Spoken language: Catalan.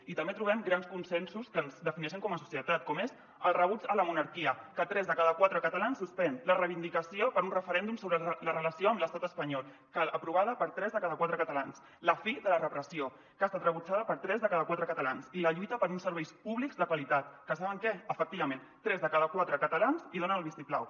i també trobem grans consensos que ens defineixen com a societat com és el rebuig a la monarquia que tres de cada quatre catalans la suspèn la reivindicació per un referèndum sobre la relació amb l’estat espanyol aprovada per tres de cada quatre catalans la fi de la repressió que ha estat rebutjada per tres de cada quatre catalans i la lluita per uns serveis públics de qualitat que saben què efectivament tres de cada quatre cata·lans hi donen el vistiplau